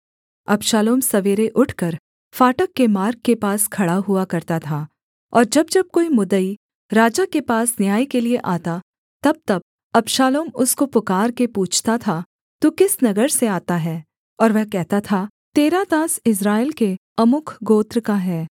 अबशालोम सवेरे उठकर फाटक के मार्ग के पास खड़ा हुआ करता था और जब जब कोई मुद्दई राजा के पास न्याय के लिये आता तबतब अबशालोम उसको पुकारके पूछता था तू किस नगर से आता है और वह कहता था तेरा दास इस्राएल के अमुक गोत्र का है